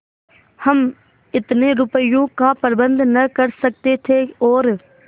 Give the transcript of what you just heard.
हम इतने रुपयों का प्रबंध न कर सकते थे और